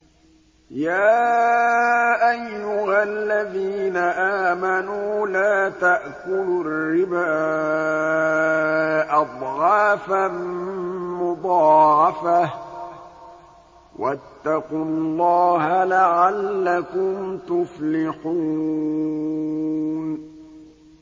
يَا أَيُّهَا الَّذِينَ آمَنُوا لَا تَأْكُلُوا الرِّبَا أَضْعَافًا مُّضَاعَفَةً ۖ وَاتَّقُوا اللَّهَ لَعَلَّكُمْ تُفْلِحُونَ